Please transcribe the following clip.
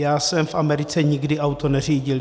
Já jsem v Americe nikdy auto neřídil.